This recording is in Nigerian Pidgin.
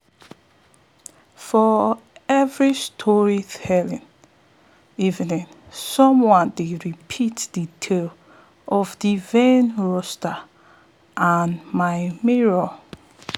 for every storytelling evening someone dey repeat de tale of de vain rooster and im mirror